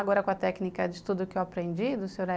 Agora com a técnica de estudo que eu aprendi, do Sr.